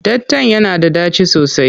Ɗatan yana da ɗaci sosai.